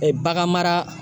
bagan mara